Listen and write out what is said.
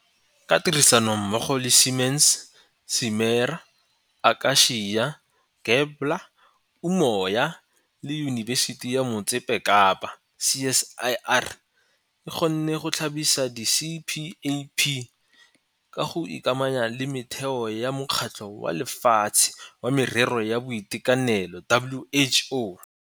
Ka tirisanommogo le Siemens, Simera, Aka-cia, Gabler, Umoya le Yunibesiti ya Motse Kapa, CSIR e kgonne go tlhagisa di-CPAP ka go ikamanya le metheo ya Mokgatlho wa Lefatshe wa Merero ya Boitekanelo, WHO.